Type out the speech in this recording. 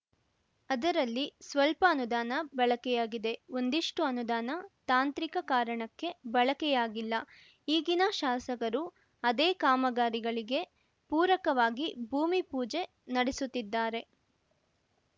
ಅದರಲ್ಲಿ ಸ್ವಲ್ಪ ಅನುದಾನ ಬಳಕೆ ಆಗಿದೆ ಒಂದಿಷ್ಟುಅನುದಾನ ತಾಂತ್ರಿಕ ಕಾರಣಕ್ಕೆ ಬಳಕೆಯಾಗಿಲ್ಲ ಈಗಿನ ಶಾಸಕರು ಅದೇ ಕಾಮಕಾರಿಗಳಿಗೆ ಪೂರಕವಾಗಿ ಭೂಮಿಪೂಜೆ ನಡೆಸುತ್ತಿದ್ದಾರೆ